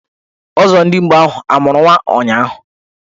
Ọzọdimgba ahụ amụrụ nwa ụnyahụ?